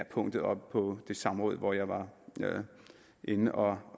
punktet oppe på det samråd hvor jeg var inde og